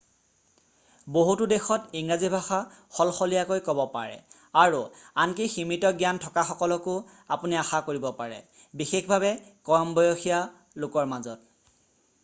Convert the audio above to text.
বহুতো দেশত ইংৰাজী ভাষা সলসলীয়াকৈ ক'ব পাৰে আৰু আনকি সীমিত জ্ঞান থকাসকলকো আপুনি আশা কৰিব পাৰে বিশেষভাৱে কম বসসীয়া লোকৰ মাজত